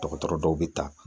Dɔgɔtɔrɔ dɔw bɛ ta